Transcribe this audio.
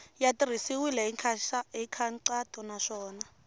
ya tirhisiwile hi nkhaqato naswona